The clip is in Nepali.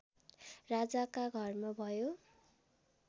राजाका घरमा भयो